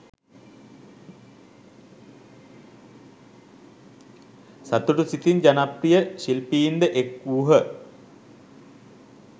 සතුටු සිතින් ජනප්‍රිය ශිල්පීන් ද එක්වූහ.